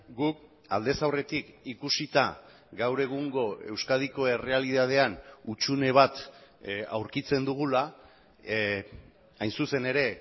guk aldez aurretik ikusita gaur egungo euskadiko errealitatean hutsune bat aurkitzen dugula hain zuzen ere